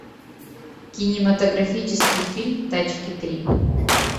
кинематографический фильм тачки три